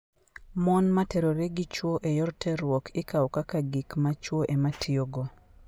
Mon ma terore gi chwo e yor terruok ikawo kaka gik ma chwo ema tiyogo.